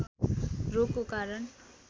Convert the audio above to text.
रोगको कारण